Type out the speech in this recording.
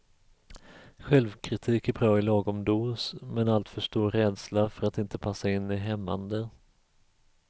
Självkritik är bra i lagom dos, men alltför stor rädsla för att inte passa in är hämmande.